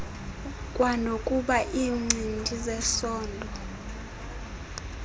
kwanokuba iincindi zesondo